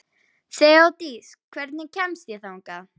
Þeódís, hvernig kemst ég þangað?